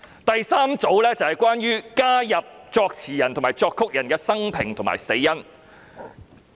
第三組修正案關於加入作詞人和作曲人的生平和死因。